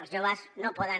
els joves no poden